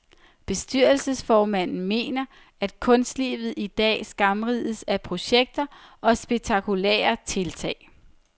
Bestyrelsesformanden mener, at kunstlivet i dag skamrides af projekter og spektakulære tiltag.